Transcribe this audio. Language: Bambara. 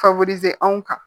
anw kan